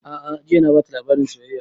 A'a jiya na bata labarin soyayya